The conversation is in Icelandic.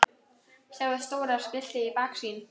Sjáið stóra skiltið í baksýn.